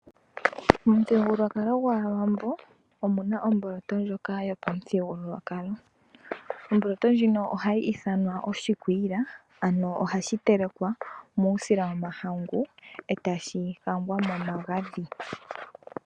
Momuthigululwakalo gwAawambo omuna omboloto ndjoka yopamuthigululwakalo. Omboloto ndjono ohayi ithanwa oshikwiila nohayi telekwa nuusila womahangu etashi kangwa momagadhi.